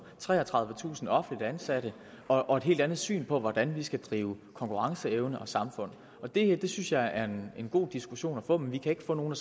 treogtredivetusind offentligt ansatte og et helt andet syn på hvordan vi skal drive konkurrenceevne og samfund og det synes jeg er en god diskussion at få men vi kan ikke få nogen